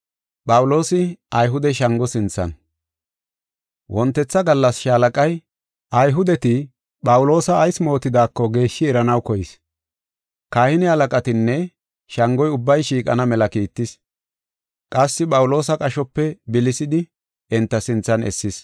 Wontetha gallas Shaalaqay, Ayhudeti Phawuloosa ayis mootidaako geeshshi eranaw koyis. Kahine halaqatinne shangoy ubbay shiiqana mela kiittis; qassi Phawuloosa qashope bilisidi enta sinthan essis.